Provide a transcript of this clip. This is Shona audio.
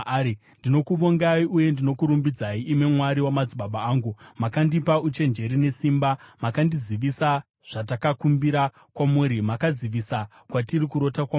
Ndinokuvongai uye ndinokurumbidzai, imi Mwari wamadzibaba angu: Makandipa uchenjeri nesimba, makandizivisa zvatakakumbira kwamuri, makazivisa kwatiri kurota kwamambo.”